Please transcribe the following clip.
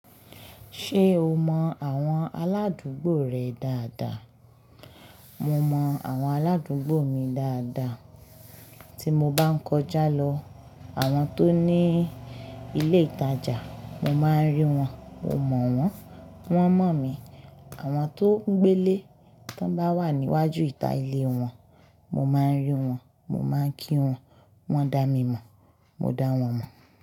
Ṣé o mọ àwọn aládùúgbò rẹ dáadáa? Mo mọ àwọn aládùúgbò mi dáadáa. Tí mo bá ń kọjá lọ, àwọn tó ní ilé ìtajà, mo máa ń rí wọn, mo mọ̀ wọ́n, wọ́n mọ̀ mí. Àwọn tó ń gbé lé tó bá wà níwájú ìta ilé wọn, mo máa ń rí wọn, mo máa ń kí wọn, wọ́n dá mi mọ̀, mo dá wọn mọ̀.